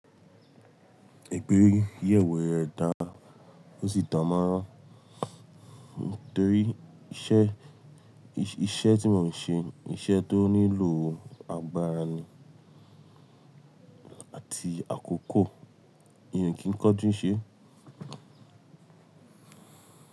Igbeyẹ̀wo ẹ̀ dá, ó sì dàn mánrán torí iṣẹ́, iṣẹ́ tí mo n ń ṣe, iṣẹ́ tó nílò agbára ni àti àkókò. Eeyan o kìí kanjú ṣe.